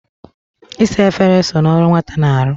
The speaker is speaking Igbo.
Isa efere so n'ọrụ nwata na-arụ.